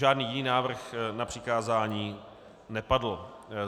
Žádný jiný návrh na přikázání nepadl.